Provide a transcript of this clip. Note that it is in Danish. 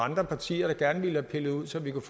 andre partier der gerne ville have pillet ud så vi kunne